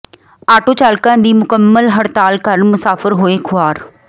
auto ਚਾਲਕਾਂ ਦੀ ਮੁਕੰਮਲ ਹੜਤਾਲ ਕਾਰਨ ਮੁਸਾਫ਼ਰ ਹੋਏ ਖੁਆਰ